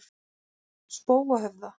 Spóahöfða